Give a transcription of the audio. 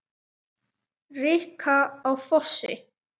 Rikka á Fossi!